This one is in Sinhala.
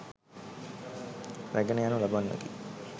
රැගෙන යනු ලබන්නකි.